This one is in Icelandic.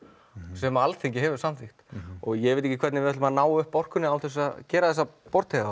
sem Alþingi hefur samþykkt ég veit ekki hvernig við ætlum að ná upp orkunni án þess að gera þessa